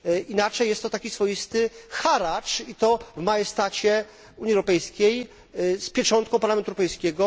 Inaczej jest to taki swoisty haracz i to w majestacie Unii Europejskiej, z pieczątką Parlamentu Europejskiego.